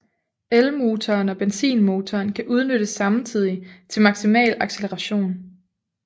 Elmotoren og benzinmotoren kan udnyttes samtidigt til maksimal acceleration